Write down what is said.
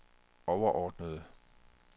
overordnede